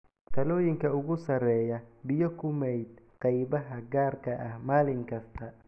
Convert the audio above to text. Talooyinka ugu sarreeya: Biyo ku maydh qaybaha gaarka ah maalin kasta.